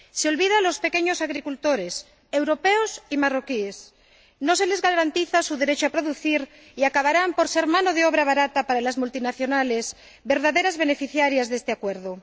Se olvida de los pequeños agricultores —europeos y marroquíes— y no les garantiza su derecho a producir, por lo que acabarán por ser mano de obra barata para las multinacionales, verdaderas beneficiarias de este acuerdo.